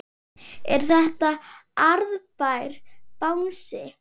Er þetta arðbær bransi?